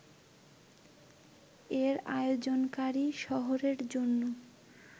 এর আয়োজনকারী শহরের জন্য